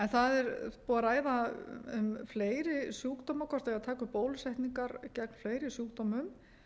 það er búið að ræða um fleiri sjúkdóma hvort það eigi að taka upp bólusetningar gegn fleiri sjúkdómum